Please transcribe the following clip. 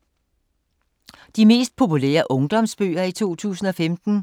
De mest populære ungdomsbøger i 2015